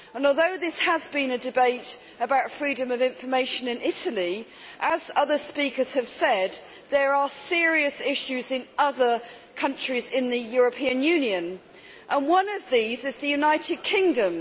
Although this has been a debate about freedom of information in Italy, as other speakers have said, there are serious issues in other countries in the European Union. One of these is the United Kingdom.